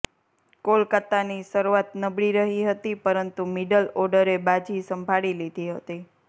કોલકાતાની શરૂઆત નબળી રહી હતી પરંતુ મિડલ ઓ્ડરે બાજી સંભાળી લીધી હતી